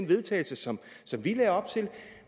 vedtagelse som vi lagde op til og